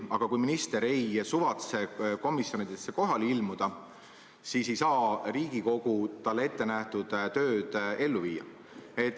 Aga kui minister ei suvatse komisjonidesse kohale ilmuda, siis ei saa Riigikogu talle ette nähtud tööd teha.